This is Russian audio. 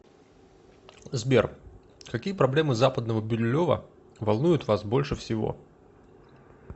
сбер какие проблемы западного бирюлево волнуют вас больше всего